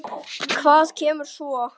Hvað kemur svo?